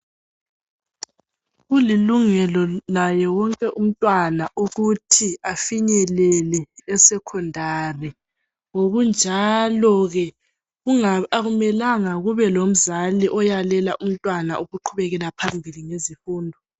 Kulilungelo laye wonke umntwana ukuthi afinyelele esekhondari ngokunjalo ke akumelanga kube lomzali oyalela umntwana ukuqhubekela phambili ngezifundo.